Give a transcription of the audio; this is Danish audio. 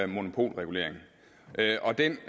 monopolregulering og den